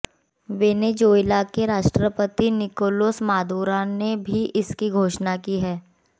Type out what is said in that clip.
Venezuela के राष्ट्रपति Nicolas Maduro ने भी इसकी घोषणा की है